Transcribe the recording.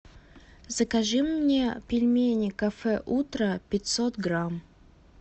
закажи мне пельмени кафе утро пятьсот грамм